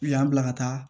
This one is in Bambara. U y'an bila ka taa